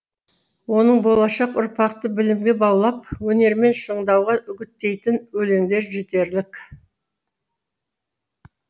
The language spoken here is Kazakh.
оның болашақ ұрпақты білімге баулып өнермен шыңдауға үгіттейтін өлеңдері жетерлік